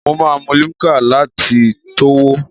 Maa mu Limca lati towo